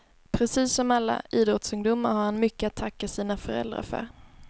Precis som alla idrottsungdomar har han mycket att tacka sina föräldrar för.